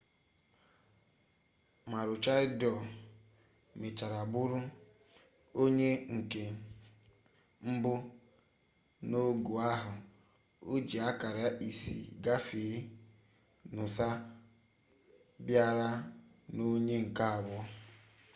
maroochydore mechara bụrụ onye nke mbụ n'ogo ahụ o ji akara isii gafee noosa bịara n'onye nke abụọ